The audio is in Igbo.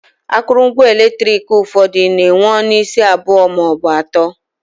Akụrụngwa eletrik ụfọdụ na enwe ọnụ isi abụọ maọbụ atọ